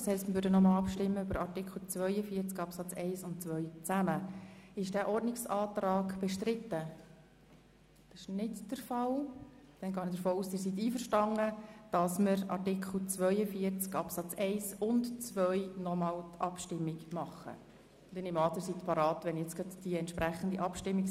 Demnach würden wir noch einmal über die Minderheitsanträge der FiKo zu Artikel 42 Absatz 1 und Absatz 2 abstimmen und zwar gemeinsam in einer Abstimmung.